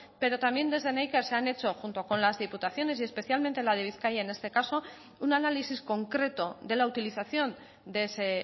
pero también desde neiker se han hecho junto con las diputaciones y especialmente la de bizkaia en este caso un análisis concreto de la utilización de ese